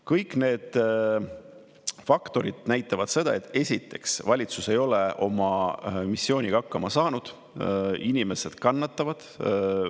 Kõik need faktorid näitavad seda, et esiteks, valitsus ei ole oma missiooniga hakkama saanud, inimesed kannatavad.